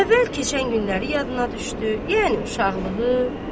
Əvvəl keçən günləri yadına düşdü, yəni uşaqlığı.